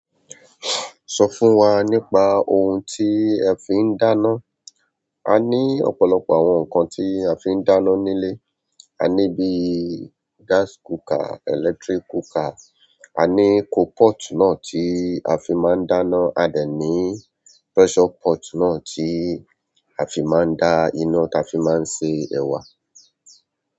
Sọ fún wa nípa ohun tí ẹ fi ń dáná. A ní ọ̀pọ̀lọpọ̀ àwọn nǹkan tí a fi ń dáná nílé. A ní bíi gas cooker, electric cooker, a ní coal pot náà tí a fi máa ń dáná, a dẹ̀ ní pressure pot náà tí a fi máa ń da iná tí a fi máa ń ṣe ẹ̀wà.